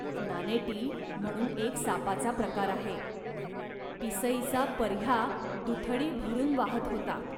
नानेटी म्हणून एक सापाचा प्रकार आहे. पिसईचा पर्ह्या दुथडी भरून वाहत होता